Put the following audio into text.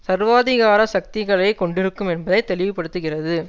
சர்வாதிகார சக்திகளை கொண்டிருக்கும் என்பதை தெளிவுபடுத்துகிறது